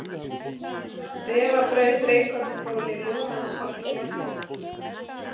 Refabraut, Reykholtsskóli, Lúnansholt, Marteinstunga